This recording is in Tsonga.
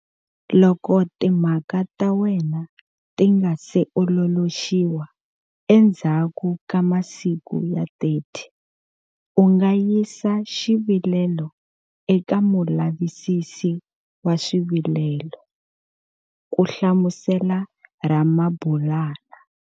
Loko timhaka ta wena ti nga si ololoxiwa endzhaku ka masiku ya 30, u nga yisa xivilelo eka Mulavisisi wa Swivilelo, ku hlamusela Ramabulana.